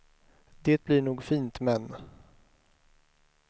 Det blir nog fint, men.